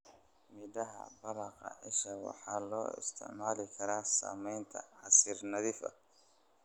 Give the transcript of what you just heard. Midhaha baqala isha waxaa loo isticmaali karaa sameynta casiir nadiif ah.